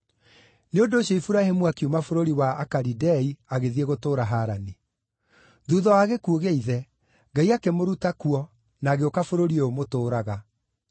“Nĩ ũndũ ũcio Iburahĩmu akiuma bũrũri wa Akalidei agĩthiĩ gũtũũra Harani. Thuutha wa gĩkuũ gĩa ithe, Ngai akĩmũruta kuo na agĩũka bũrũri ũyũ mũtũũraga.